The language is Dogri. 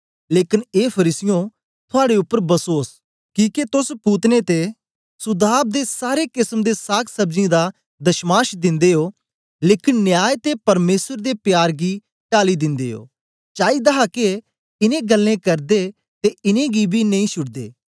लेकन ए फरीसीयों थुआड़े उपर बसोस किके तोस पोदीने ते सुदाब ते सारे केसम दे सागसब्जियें दा दशमांश दिंदे ओ लेकन न्याय ते परमेसर दे प्यार गी टाल दिंदे ओ चाईदा हा के इनें ग्ल्लें करदे ते इनेंगी बी नेई छुड़दे